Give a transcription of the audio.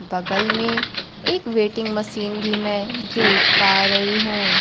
बगल में एक वेटिंग मशीन भी मैं देख पा रही हूं।